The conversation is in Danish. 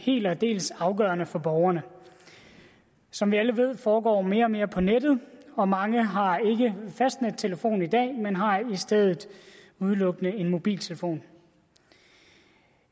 helt og aldeles afgørende for borgerne som vi alle ved foregår mere og mere på nettet og mange har ikke fastnettelefon i dag men har i stedet udelukkende en mobiltelefon